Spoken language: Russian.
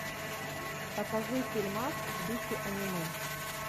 покажи фильмас в духе аниме